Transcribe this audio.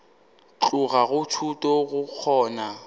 tloga go thuto go kgona